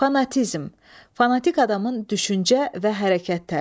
Fanatizm, fanatik adamın düşüncə və hərəkət tərzi.